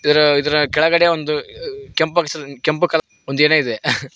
ಆ ಇದ್ರ ಇದ್ರ ಕೆಳಗಡೆ ಒಂದು ಕೆಂಪ್ ಬಾಕ್ಸ್ ಕೆಂಪ್ ಕಲರ್ ಒಂದ್ ಏನೋ ಇದೆ.